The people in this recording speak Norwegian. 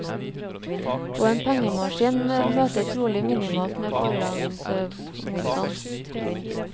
Og en pengemaskin møter trolig minimalt med forlagsmotstand.